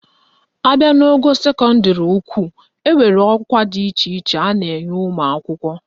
Abịa n'ogo sekọndịrị ukwu, enwere ọkwa dị iche iche a na-enye ụmụakwụkwọ